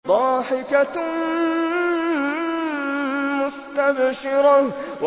ضَاحِكَةٌ مُّسْتَبْشِرَةٌ